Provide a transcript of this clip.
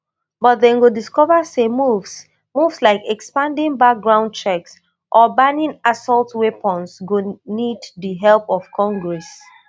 but dem go discover say moves moves like expanding background checks or banning assault weapons go need di help of congress